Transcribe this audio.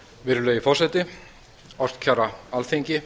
virðulegi forseti ástkæra alþingi